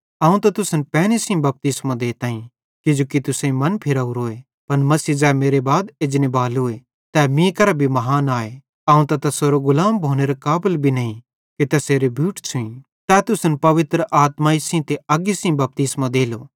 अवं त तुसन पैनी सेइं बपतिस्मो देताईं किजोकि तुसेईं मनफिरोरोए पन मसीह ज़ै मेरे बाद एजनेबालोए तै मीं केरां भी महान आए अवं त तैसेरो गुलाम भोनेरे काबल भी नईं कि तैसेरे बूट छ़ुई तै तुसन पवित्र आत्माई सेइं ते अग्गी सेइं बपतिस्मो देलो ज़ैना मनफिरान तैनन्